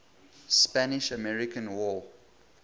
spanish american war